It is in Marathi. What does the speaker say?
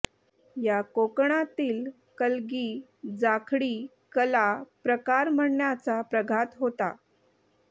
या कोकणातील कलगी जाखडी कला प्रकार म्हणण्याचा प्रघात होता